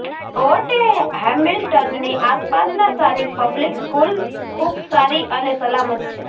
fort હેમિલ્ટનની આસપાસના સ્થાનિક પબ્લિક સ્કૂલ ખૂબ સારી અને સલામત છે